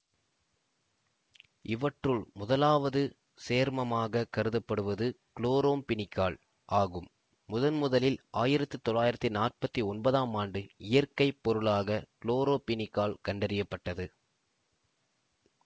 இவற்றுள் முதலாவது சேர்மமாகக் கருதப்படுவது குளோரம்பீனிகால் ஆகும் முதன்முதலில் ஆயிரத்தி தொள்ளாயிரத்தி நாற்பத்தி ஒன்பது ஆம் ஆண்டு இயற்கை பொருளாக குளோரம்பீனிகால் கண்டறிய பட்டது